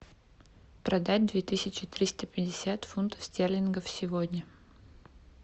продать две тысячи триста пятьдесят фунтов стерлингов сегодня